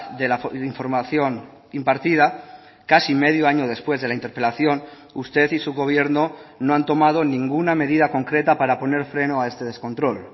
de la información impartida casi medio año después de la interpelación usted y su gobierno no han tomado ninguna medida concreta para poner freno a este descontrol